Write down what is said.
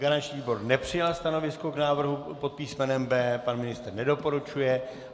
Garanční výbor nepřijal stanovisko k návrhu pod písmenem B, pan ministr nedoporučuje.